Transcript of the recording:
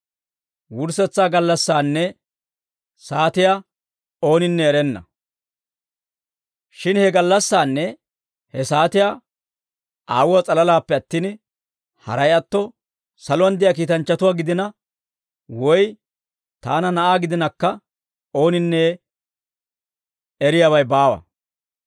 Shin he gallassaanne he saatiyaa Aawuwaa s'alalaappe attin, haray atto saluwaan de'iyaa kiitanchchatuwaa gidina, woy taana Na'aa gidinakka ooninne eriyaabay baawa.